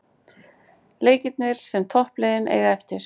Leikirnir sem toppliðin eiga eftir